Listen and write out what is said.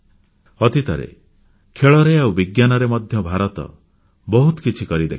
ଅତୀତରେ ଖେଳରେ ଆଉ ବିଜ୍ଞାନରେ ମଧ୍ୟ ଭାରତ ବହୁତ କିଛି କରି ଦେଖାଇଛି